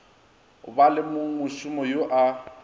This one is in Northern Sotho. ba le mongmošomo yo a